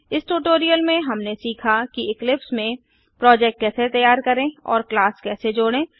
इस ट्यूटोरियल में हमने सीखा कि इक्लिप्स में प्रोजेक्ट कैसे तैयार करें और क्लास कैसे जोड़ें